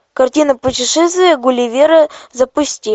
картина путешествие гулливера запусти